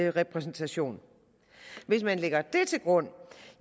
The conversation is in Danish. en repræsentation hvis man lægger det til grund